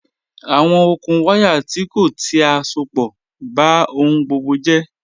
Awọn okùn wàyá tì kọ̀ ti à sọ̀pọ̀ bá ọhun gbogbo jẹ̀.